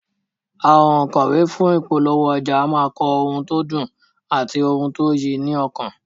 Àwọn ònkọ̀wé fún ìpolówó ọjà a máa kọ òun tó dùn àti òun tó yí ni lọ́kàn